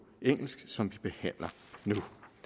engelsk som vi behandler nu